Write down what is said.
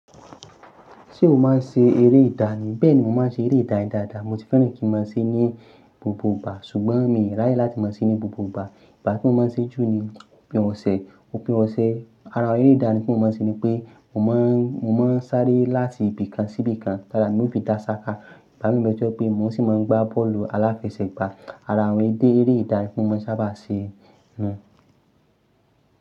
Ṣé o máa ń ṣe eré ìdá ni? Bẹ́ẹ̀ni, mo máa ń ṣe eré ì dayin dáadáa. Mo ti fẹ́ràn kí n máa ṣe ní gbogbo ìgbà, ṣùgbọ́n mi i ráyè láti máa ṣe ní gbogbo ìgbà. Ìgbá tí mo máa ń ṣe jù ni òpin ọ̀sẹ̀, òpin ọ̀sẹ̀. Ara eré ìdání tí mo máa ń ṣe ni pé mo máa n, mo máa ń sáré láti ibì kan sí ibì kan tara mi o fi dásáká. Gbá mi tọ̀ jé pé mo sì máa ń gbá bọ́ọ̀lù aláfẹsẹ̀gbá. Ara àwọn èdè eré ìdáni ti mo maa n sábà ṣe nu.